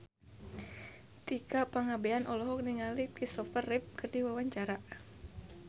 Tika Pangabean olohok ningali Christopher Reeve keur diwawancara